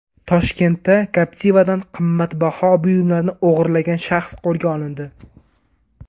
Toshkentda Captiva’dan qimmatbaho buyumlarni o‘g‘irlagan shaxs qo‘lga olindi.